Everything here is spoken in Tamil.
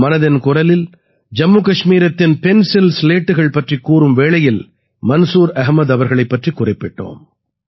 மனதின் குரலில் ஜம்மு கஷ்மீரத்தின் பென்சில்ஸ்லேட்டுகள் பற்றிக் கூறும் வேளையில் மன்சூர் அஹமது அவர்களைப் பற்றிக் குறிப்பிட்டோம்